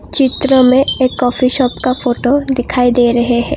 चित्र में एक कॉफी शॉप का फोटो दिखाई दे रहे हैं।